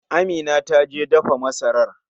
Amina ta je dafa masarar.